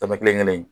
Tama kelenkelen